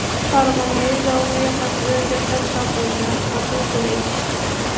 Farg‘onada zovur yoqasidan jasad topildi, qotil qo‘lga tushdi.